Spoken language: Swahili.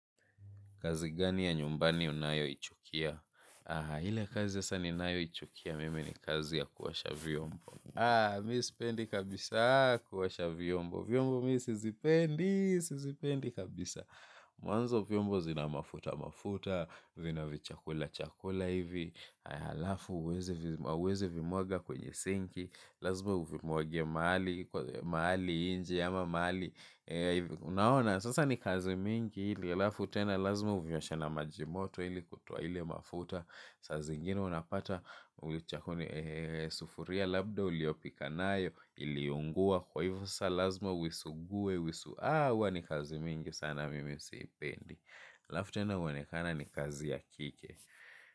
Kazi gani ya nyumbani unayo ichukia? Ile kazi sasa ninayo ichukia mim ni kazi ya kuosha vyombo. Mimi sipendi kabisa kuosha vyombo. Vyombo mimi sizipendi, sizipendi kabisa. Mwanzo vyombo zina mafuta, mafuta. Vina vichakula, chakula hivi. Alafu hauwezi vimwaga kwenye sinki. Lazimq uvimwage mahali, mahali nje ama mahali. Unaona, sasa ni kazi mingi hili. Halafu tena lazima uvioshe na maji moto ili kutoa ile mafuta. Sazingine unapata ulichokuni sufuria labda uliopika nayo iliunguwa kwa hivo sasa lazima uisugue uisugue aah huwa ni kazi mingi sana mimi siipendi. Alafu tena huonekana ni kazi ya kike.